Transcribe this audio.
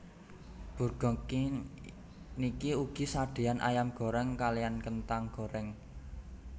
Burger King niki ugi sadeyan ayam goreng kaliyan kentang goreng